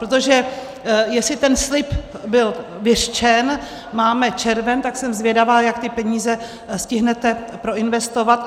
Protože jestli ten slib byl vyřčen, máme červen, tak jsem zvědavá, jak ty peníze stihnete proinvestovat.